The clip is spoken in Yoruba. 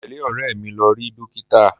Mo tẹle ọ̀rẹ́ mi lọ rí dókítà.